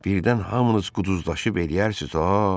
Birdən hamınız quduzlaşıb eləyərsiz ha.